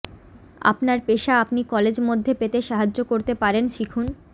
আপনার পেশা আপনি কলেজ মধ্যে পেতে সাহায্য করতে পারেন শিখুন